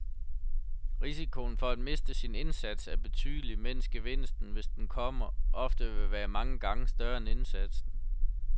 Risikoen for at miste sin indsats er betydelig, mens gevinsten, hvis den kommer, ofte vil være mange gange større end indsatsen.